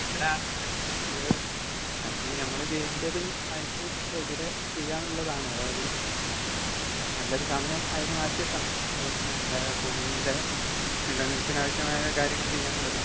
അതെ. അവിടാണ് മനുഷ്യന് പിഴവ് പറ്റുന്നത് അയിന് നമ്മള് ചെയ്യണ്ടത് അയിന് എതിരെ ചെയ്യാന്നുള്ളതാണ് അതായത് നല്ലൊരു സമയം അയിന് മാറ്റിവയ്ക്കണം നല്ല ഭൂമിയുടെ നിലനിൽപ്പിന് ആവശ്യമായ കാര്യങ്ങൾ ചെയ്യാനുള്ളത്.